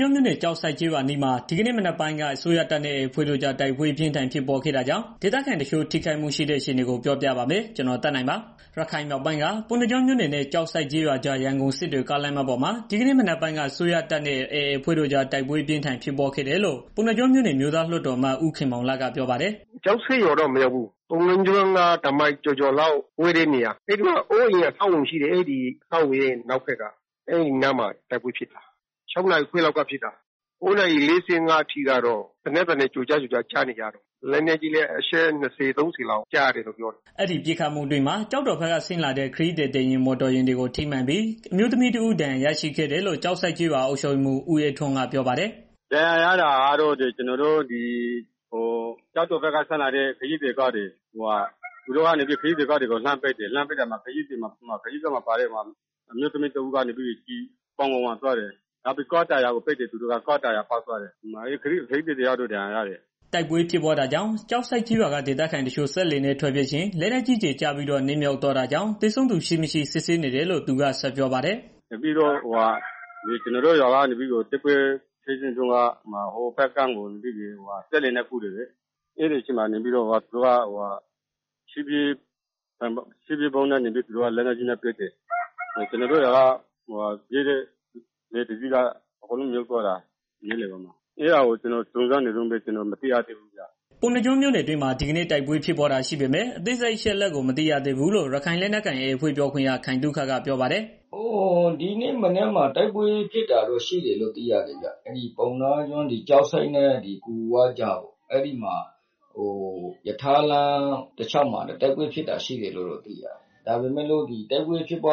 ကျွန်းမြို့နယ် ကျောက်ဆိပ်ကျေးရွာအနီးမှာ ဒီကနေ့ မနက်ပိုင်းက အစိုးရတပ်နဲ့ AA အဖွဲ့တို့ကြား တိုက်ပွဲအပြင်းအထန် ဖြစ်ပွားခဲ့တာကြောင့် ဒေသခံအချို့ ထိခိုက်မှုရှိတဲ့အခြေအနေ ပြောပြပါမယ်။ ဒီအကြောင်း ဗွီအိုအေမြန်မာပိုင်းသတင်းထောက် ကိုသက်နိုင်က တင်ပြပေးပါမယ်။ ရခိုင်မြောက်ပိုင်းက ပုဏ္ဏားကျွန်းမြို့နယ်နဲ့ ကျောက်ဆိပ်ကျေးရွာကြား ရန်ကုန်စစ်တွေ ကားလမ်းမပေါ်မှာ ဒီကနေ့က မနက်ပိုင်းက အစိုးရတပ်နဲ့ AA အဖွဲ့တို့ကြား တိုက်ပွဲအပြင်းအထန် ဖြစ်ပွားခဲ့တယ်လို့ ပုဏ္ဏားကျွန်းမြို့နယ် အမျိုးသားလွှတ်တော် အမတ် ဦးခင်မောင်လတ်က ပြောပါတယ်။ "ကျောက်ဆိပ်ရွာကိုတော့ မရောက်ဘူး။ ပုဏ္ဏားကျွန်းကနေ တစ်မိုင်ကျော်ကျော်လောက်ဝေးတဲ့နေရာ အဲဒီမှာ အဆောက်အအုံတွေ ရှိတယ်။ အဲဒီအဆောက်အအုံတွေရဲ့ နောက်ဘက်က အဲဒီနားမှာ တိုက်ပွဲဖြစ်တာ ဒီနေ့မနက် ၆ နာရီခွဲလောက်က ဖြစ်တာ။ ၉ နာရီခွဲလောက်အထိ ဖြစ်နေတုန်းပဲ လက်နက်ကြီးလည်း အချက် ၃၀ လောက် ပစ်တယ်လို့ ပြောကြတယ်။" အဲဒီပစ်ခတ်မှုအတွင်းမှာ ကျောက်တော်ဘက်က ဆင်းလာတဲ့ ခရီးသည်တင်မော်တော်ယာဉ်တွေကို ထိမှန်ပြီး အမျိုးသမီးတစ်ဦး ဒဏ်ရာရရှိခဲ့တယ်လို့ ကျောက်ဆိပ်ကျေးရွာ အုပ်ချုပ်ရေးမှူး ဦးအေးထွန်းက ပြောပါတယ်။ "ဒဏ်ရာရတာကတော့ ကျနော်တို့ ကျောက်တော်ဘက်က ဆင်းလာတဲ့ ခရီးသည်တင် ကားတွေကို လှမ်းပစ်တော့ ကားပေါ်မှာ ပါလာတဲ့ ခရီသည် အမျိုးသမီးတစ်ယောက်ရဲ့ ပေါင်ကို ကျည်ဆံဖောက်ဝင်သွာတယ်။ ကားတာယာတွေ ပျက်စီးသွားတယ်။ ခရီးသည်တစ်ယောက်တော့ ဒဏ်ရာရတယ်။" တိုက်ပွဲဖြစ်ပွားနေချိန် ကျောက်ဆိပ်ကျေးရွာက ဒေသခံတချို့ စက်လှေနဲ့ ထွက်ပြေးချိန် လက်နက်ကြီးကျည် ကျပြီးတော့ နစ်မြုပ်သွားပြီး သေဆုံးသူရှိ၊ မရှိ စစ်ဆေးနေတယ်လို့ သူက ဆက်ပြောပါတယ်။ "တိုက်ပွဲဖြစ်တော့ ကျနော်တို့ရွာက သူတွေကို မြစ်တဘက်ကမ်းကို စက်လှေနဲ့ ပြေးတယ်လေ။ ကျနော်တို့ ရွာက ပြေးတဲ့ စက်လှေကို လက်နက်ကြီးနဲ့ လှမ်းပစ်တော့ မြစ်လယ်မှာ စက်လှေက အကုန်လုံး မြုပ်သွားတယ်။ အသေအပျောက်ကတော့ စုံစမ်းနေတုန်းပဲ မသိရသေးဘူး။" ပုဏ္ဏားကျွန်းမြို့နယ် အတွင်းမှာ ဒီကနေ့တိုက်ပွဲဖြစ်ပွားတာရှိပေမဲ့ အသေးစိတ်အချက်အလက် မသိရသေးဘူးလို့ ရခိုင်လက်နက်ကိုင် AA အဖွဲ့ပြောခွင့်ရ ခိုင်သုခက ပြောပါတယ်။ "ဒီနေ့မနက်ပိုင်းမှာ တိုက်ပွဲဖြစ်တာ ရှိတယ်လို့တော့ သိရတယ်ခင်ဗျာ။ ပုဏ္ဏားကျွန်းကျောက်ဆိပ်နဲ့ ဂူဝကြား ရထားလမ်းတလျှောက်မှာ တိုက်ပွဲဖြစ်တာရှိတယ်။ ဒါပေမဲ့ အသေးစိတ်အချက်အလ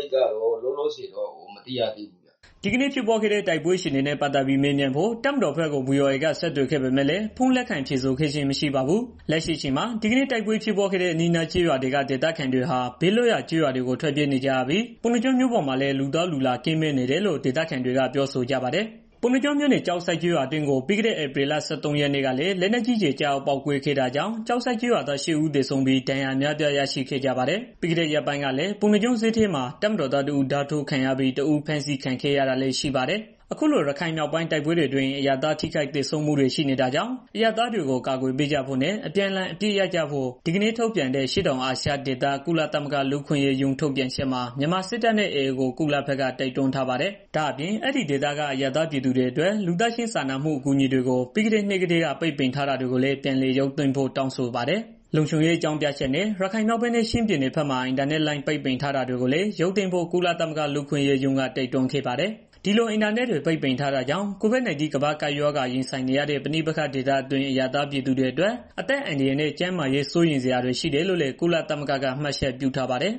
က်ကတော့ ကျနော့် ဆီကို မရောက်သေးဘူးခင်ဗျာ။" ဒီကနေ့ ဖြစ်ပွားခဲ့တဲ့ တိုက်ပွဲအခြေအနေနဲ့ ပတ်သတ်ပြီး မေးမြန်းဖို့ တပ်မတော်ဘက်ကို ဗွီအိုအေက ဆက်သွယ်ခဲ့ပေမဲ့လည်း ဖုန်းလက်ခံ ဖြေဆိုခဲ့ခြင်းမရှိပါဘူး။ လက်ရှိအချိန်မှာ ဒီကနေ့တိုက်ပွဲဖြစ်ပွားခဲ့တဲ့ အနီးအနားကျေးရွာတွေက ဒေသခံတွေဟာ ဘေးလွတ်ရာ ကျေးရွာတွေကို ထွက်ပြေးနေကြရပြီး ပုဏ္ဏားကျွန်းမြို့ပေါ်မှာလည်း လူသွားလူလာကင်းမဲ့နေတယ်လို့ ဒေသခံတွေက ပြောဆိုကြပါတယ်။ ပုဏ္ဏားကျွန်းမြို့နယ် ကျောက်ဆိပ်ကျေးရွာအတွင်းကို ပြီးခဲ့တဲ့ ဧပြီလ ၁၃ ရက် နေ့ကလည်း လက်နက်ကြီးကျည် ကျရောက် ပေါက်ကွဲခဲ့တာကြောင့် ကျောက်ဆိပ်ကျေးရွာသား ရှစ်ဦးသေဆုံးပြီး ဒဏ်ရာ အများအပြား ရရှိခဲ့ကြ ပါတယ်။ ပြီးခဲ့တဲ့ ရက်ပိုင်းကလည်း ပုဏ္ဏားကျွန်းဈေးထဲမှာ တပ်မတော်သားတစ်ဦး ဓားထိုးခံရပြီး တစ်ဦး ဖမ်းဆီးခံခဲ့ရတာလည်း ရှိပါတယ်။ အခုလို ရခိုင်မြောက်ပိုင်းးတိုက်ပွဲတွေအတွင်း အရပ်သားထိခိုက်သေဆုံးမှုတွေ ရှိနေတာကြောင့်၊ အရပ်သားတွေကို အကာအကွယ်ပေးကြဖို့နဲ့ အပြန်အလှန်အပစ်အခတ်ရပ်စဲကြဖို့ ဒီကနေ့ ထုတ်ပြန်တဲ့ အရှေ့တောင်အာရှဒေသ ကုလသမဂ္ဂ လူ့အခွင့်အရေးရုံး ထုတ်ပြန်ချက်မှာ မြန်မာစစ်တပ်နဲ့ AA ကို ကုလသမဂ္ဂဘက် တိုက်တွန်းပါတယ်။ ဒါ့အပြင် အဲဒီဒေသက အရပ်သားပြည်သူတွေအတွက် လူသားချင်းစာနာမှု အကူအညီတွေကို ပြီးခဲ့တဲ့နှဟ်ကတည်းက ပိတ်ပင်ထားတာတွေကိုလည်း ပြန်လည်ရုပ်သိမ်းဖို့တောင်းဆိုပါတယ်။ လုံခြုံရေးအကြောင်းပြချက်နဲ့ ရခိုင်မြောက်ပိုင်းနဲ့ ချင်းပြည်နယ်မြို့နယ်အချို့မှာ အင်တာနက် ပိတ်ပင်ထားတာတွေကိုလည်း ရုပ်သိမ်းဖို့ ကုလသမဂ္ဂ လူ့အခွင့်အရေးရုံးက တိုက်တွန်းခဲ့ပါတယ်။ ဒီလို အင်တာနက်ပိတ်တာကြောင့် COVID-19 ကမ္ဘာ့ကပ်ရောဂါ ရင်ဆိုင်နေရတဲ့ ပဋိပက္ခဒေသတွင်း အရပ်သားပြည်သူတွေအတွက် အသက်အန္တရာယ်နဲ့ ကျန်းမာရေးစိုးရိမ်စရာတွေရှိတယ်လို့လည်း ကုလသမဂ္ဂက မှတ်ချက်ပြုထားပါတယ်။